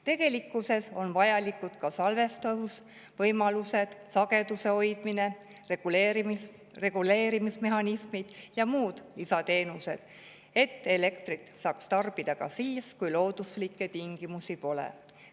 Tegelikkuses on vajalikud ka salvestusvõimalused, sageduse hoidmine, reguleerimismehhanismid ja, et elektrit saaks tarbida ka siis, kui looduslikke tingimusi pole.